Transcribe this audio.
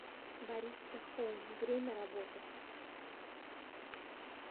бариста хоум время работы